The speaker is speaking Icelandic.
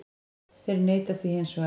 Þeir neita því hins vegar